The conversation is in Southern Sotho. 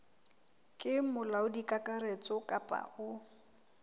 ke molaodi kakaretso kapa o